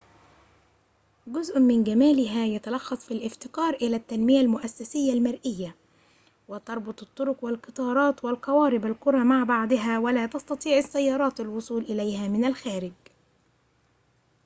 جزءٌ من جمالها يتلخص في الافتقار إلى التنمية المؤسسية المرئية.و تربط الطرق والقطارات والقوارب القرى مع بعضها ولا تستطيع السيارات الوصول إليها من الخارج